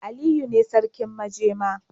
Aliyu ne sarkin majema.